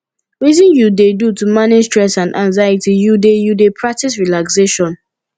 wetin you dey do to manage stress and anxiety you dey you dey practice relaxation